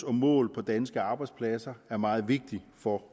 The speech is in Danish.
og mål for danske arbejdspladser er meget vigtigt for